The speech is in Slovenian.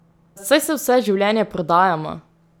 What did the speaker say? Saj se vse življenje prodajamo!